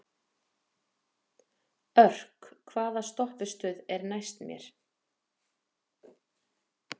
Örk, hvaða stoppistöð er næst mér?